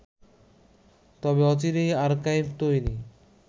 তবে অচিরেই আর্কাইভ তৈরি